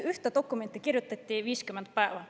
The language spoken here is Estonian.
Ühte dokumenti kirjutati 50 päeva.